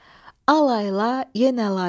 Al layla, yenə layla.